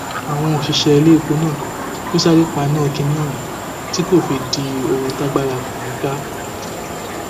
àwọn òṣìṣẹ iléèpò náà ló sì sáré paná kínní ohun tí kò fi di di ohun tágbára kò ní í ká